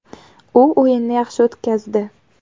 U o‘yinni yaxshi o‘tkazdi.